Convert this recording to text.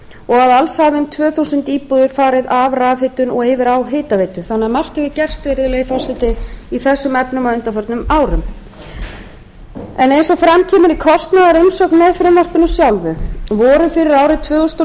og að alls hafa um tvö þúsund íbúðir farið af rafhitun og yfir á hitaveitu þannig að margt hefur gerst virðulegi forseti í þessum efnum á undanförnum árum eins og fram kemur í kostnaðarumsögn með frumvarpinu voru fyrir árið tvö þúsund og